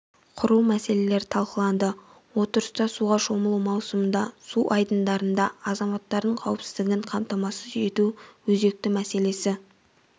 құру мәселелері талқыланды отырыста суға шомылу маусымында су айдындарында азаматтардың қауіпсіздігін қамтамасыз ету өзекті мәселесі